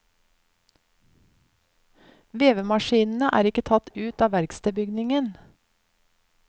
Vevemaskinene er ikke tatt ut av verkstedbygningen.